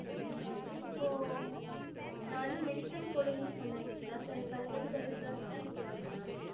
உம் இப்போ நான் வந்து medical coding னு சொன்னேன் இல்லைங்களா எனக்கு அதப்பத்தி கொஞ்சம் search பண்ணி சொல்லுங்க.